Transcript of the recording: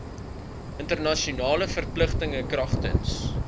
internasionale verpligtinge kragtens